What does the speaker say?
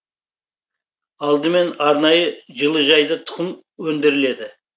алдымен арнайы жылыжайда тұқымы өндіріледі